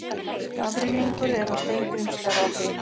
Skafrenningur er á Steingrímsfjarðarheiði